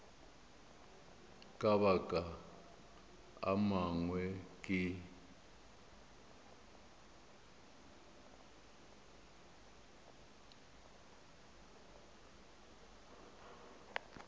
ka mabaka a mangwe ke